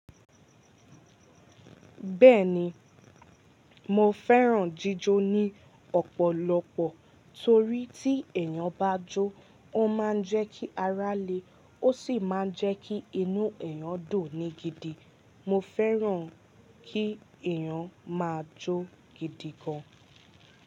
Bẹ́ẹ̀ni, mo fẹ́ràn jíjó ní ọ̀pọ̀lọpọ̀ torí tí èèyàn bá jó, ó máa ń jẹ́ kí ará le ó sì máa ń jẹ́ kí inú èèyàn ń dùn ní gidi. Mo fẹ́ràn kí èèyàn máa jó gidi gan.